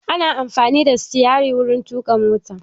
Ana amfani da sitarin wuri tuƙa mota